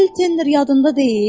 Bill Tenner yadında deyil?